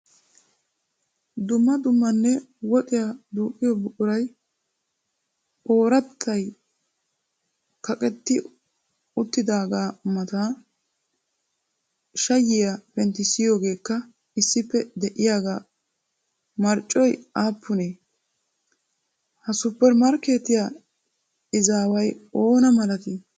Dumma dummanne woxiyaa duuqqiyo buquray oorattay kaqetti uttidaagaa mata shayyiya penttissiyoogeekka issippe diyaagaa marccoy aappunee? Ha suppermarkkeetiya izaaway oona malatii?